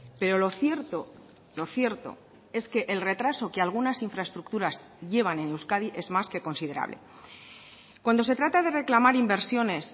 pero lo cierto lo cierto es que el retraso que algunas infraestructuras llevan en euskadi es más que considerable cuando se trata de reclamar inversiones